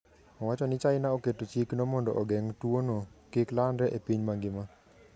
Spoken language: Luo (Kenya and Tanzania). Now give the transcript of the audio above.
Owacho ni China oketo chikno mondo ogeng' tuwono kik landre e piny mangima.